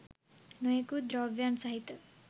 නොයෙකුත් ද්‍රව්‍යයන් සහිත